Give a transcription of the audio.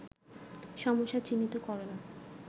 সমস্যা চিহ্নিত করণ